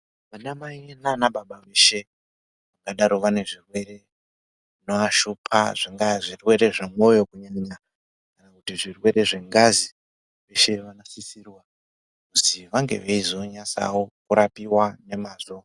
Vanamai nana baba veshe vangadaro zvinovashupa zvingava zvirwere zvemoyo zvingava zvirwere zvengazi veshe vanosisirwa kuzi vange veizonatsa kurapiwa nemazvo